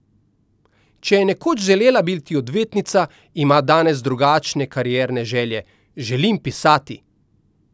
Če je nekoč želela biti odvetnica, ima danes drugačne karierne želje: "Želim pisati.